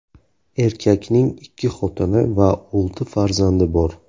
Erkakning ikki xotini va olti farzandi bor.